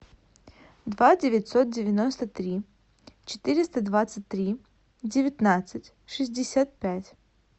два девятьсот девяносто три четыреста двадцать три девятнадцать шестьдесят пять